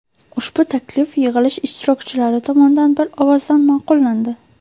Ushbu taklif yig‘ilish ishtirokchilari tomonidan bir ovozdan ma’qullandi.